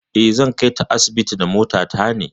Eh, zan kai ta asibiti da mota ta ne.